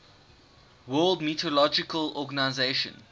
world meteorological organization